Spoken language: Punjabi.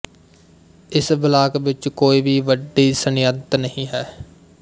ਇਸ ਬਲਾਕ ਵਿੱਚ ਕੋਈ ਵੀ ਵੱਡੀ ਸਨਅਤ ਨਹੀਂ ਹੈ